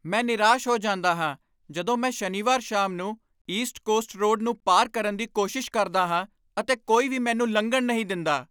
ਮੈਂ ਨਿਰਾਸ਼ ਹੋ ਜਾਂਦਾ ਹਾਂ ਜਦੋਂ ਮੈਂ ਸ਼ਨੀਵਾਰ ਸ਼ਾਮ ਨੂੰ ਈਸਟ ਕੋਸਟ ਰੋਡ ਨੂੰ ਪਾਰ ਕਰਨ ਦੀ ਕੋਸ਼ਿਸ਼ ਕਰਦਾ ਹਾਂ ਅਤੇ ਕੋਈ ਵੀ ਮੈਨੂੰ ਲੰਘਣ ਨਹੀਂ ਦਿੰਦਾ।